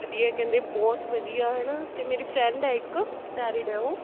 ਵਧੀਆ ਕਹਿੰਦੇ ਬਹੁਤ ਵਧੀਆ ਹਨਾ ਤੇ ਮੇਰੀ friend ਹੈ ਇੱਕ married ਹੈ ਉਹ